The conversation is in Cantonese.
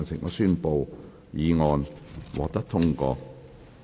我宣布議案獲得通過。